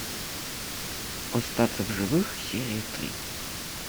остаться в живых серия три